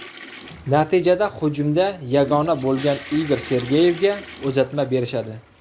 Natijada hujumda yagona bo‘lgan Igor Sergeyevga uzatma berishadi.